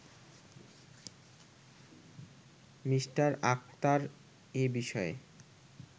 me Akhtar এ বিষয়ে